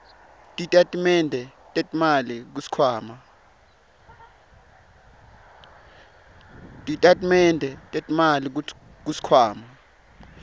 titatimende tetimali kusikhwama